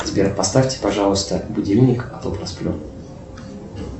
сбер поставьте пожалуйста будильник а то просплю